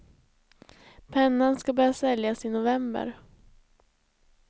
Pennan ska börja säljas i november.